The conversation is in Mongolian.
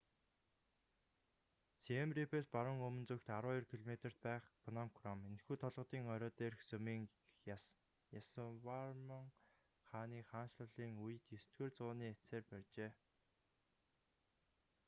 сием рийпээс баруун өмнө зүгт 12 км-т байх пном кром энэхүү толгодын орой дээрх сүмийг ясаварман хааны хаанчлалын үед 9-р зуунц эцсээр барьжээ